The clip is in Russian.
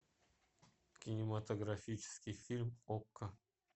кинематографический фильм окко